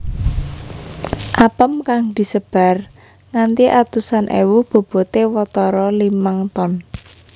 Apem kang disebar nganti atusan èwu boboté watara limang ton